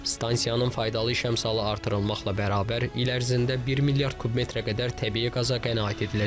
Stansiyanın faydalı iş əmsalı artırılmaqla bərabər, il ərzində 1 milyard kub metrə qədər təbii qaza qənaət ediləcək.